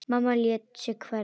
Mamma lét sig hverfa.